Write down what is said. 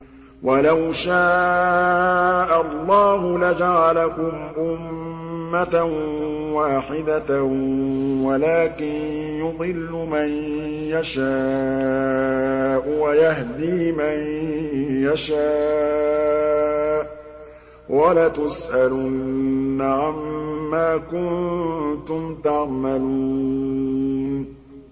وَلَوْ شَاءَ اللَّهُ لَجَعَلَكُمْ أُمَّةً وَاحِدَةً وَلَٰكِن يُضِلُّ مَن يَشَاءُ وَيَهْدِي مَن يَشَاءُ ۚ وَلَتُسْأَلُنَّ عَمَّا كُنتُمْ تَعْمَلُونَ